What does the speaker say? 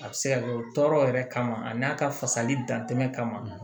A bɛ se ka kɛ tɔɔrɔ yɛrɛ kama a n'a ka fasali dantɛ kama